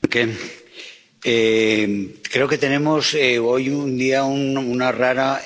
Señor presidente, creo que tenemos hoy una rara